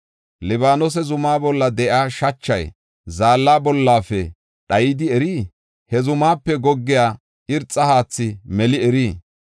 Libaanose zuma bolla de7iya shachay, zaalla bollafe dhayidi erii? He zumaape goggiya irxa haathi meli erii?